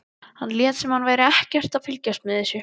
Hann lét sem hann væri ekkert að fylgjast með þessu.